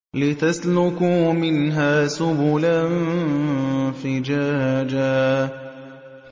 لِّتَسْلُكُوا مِنْهَا سُبُلًا فِجَاجًا